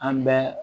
An bɛ